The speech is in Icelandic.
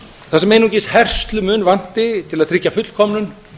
þar sem einungis herslumun vanti til að tryggja fullkomnun